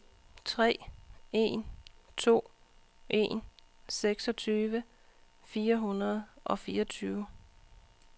tre en to en seksogtyve fire hundrede og fireogtyve